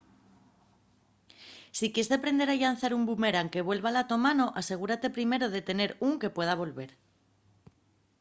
si quies deprender a llanzar un bumerán que vuelva a la to mano asegúrate primero de tener ún que pueda volver